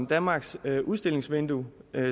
danmarks udstillingsvindue